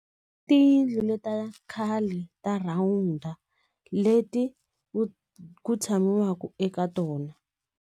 Tiyindlu leta khale ta rhawunda leti ku ku tshamaka eka tona.